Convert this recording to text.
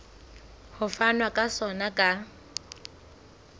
ho fanwa ka sona ka